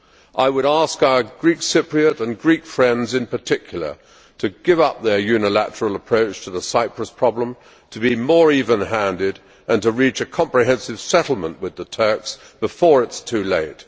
I would ask our Greek Cypriot and Greek friends in particular to give up their unilateral approach to the Cyprus problem, to be more even handed, and to reach a comprehensive settlement with the Turks before it is too late.